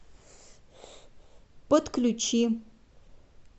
подключи